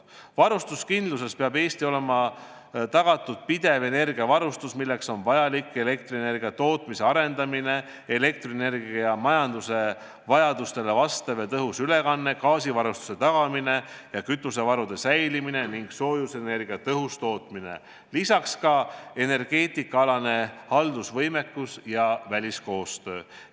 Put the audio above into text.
Varustuskindluse seisukohalt peab Eestil olema tagatud pidev energiavarustus, milleks on vajalik elektrienergia tootmise arendamine, elektrienergia majanduse vajadustele vastav ja tõhus ülekanne, gaasivarustuse tagamine ja kütusevarude olemasolu ning soojusenergia tõhus tootmine, samuti energeetikaalane haldusvõimekus ja väliskoostöö.